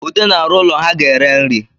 Ude na-arụ ụlọ ha ga-ere nri